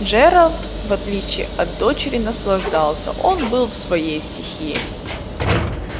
джералд в отличие от дочери наслаждался он был в своей стихии